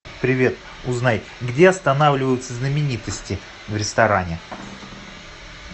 привет узнай где останавливаются знаменитости в ресторане